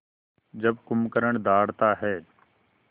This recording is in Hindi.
जब कुंभकर्ण दहाड़ता है